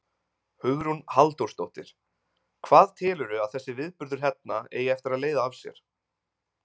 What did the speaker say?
Hugrún Halldórsdóttir: Hvað telurðu að þessi viðburður hérna eigi eftir að leiða af sér?